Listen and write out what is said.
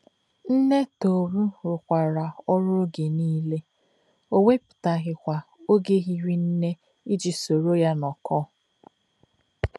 Nne Tohru rụkwara ọrụ oge nile, o wepụtaghịkwa oge hiri nne iji soro ya nọkọọ.